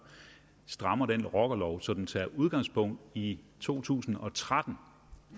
strammer den rockerlov så den tager udgangspunkt i to tusind og tretten